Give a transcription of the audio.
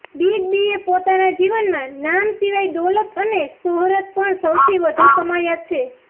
big બીએ પોતાના જીવનમાં નામ સિવાય દોલત અને શોહરત પણ સૌથી વધુ કમાયા છે